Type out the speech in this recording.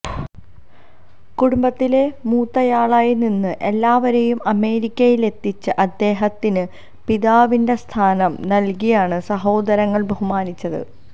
കുടുംബത്തിലെ മൂത്തയാളായി നിന്ന് എല്ലാവരെയും അമേരിക്കയിലെത്തിച്ച അദ്ദേഹത്തിന് പിതാവിന്റെ സ്ഥാനം നല്കിയാണ് സഹോദരങ്ങള് ബഹുമാനിച്ചത്